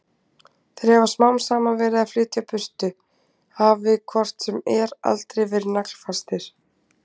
Þeir hafi smám saman verið að flytja burtu, hafi hvort sem er aldrei verið naglfastir.